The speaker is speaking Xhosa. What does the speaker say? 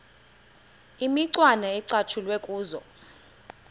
imicwana ecatshulwe kuzo